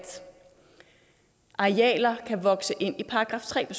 arealer kan vokse ind i § tre